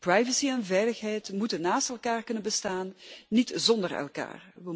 Privacy en veiligheid moeten naast elkaar kunnen bestaan, niet zonder elkaar.